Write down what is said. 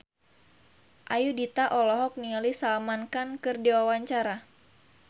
Ayudhita olohok ningali Salman Khan keur diwawancara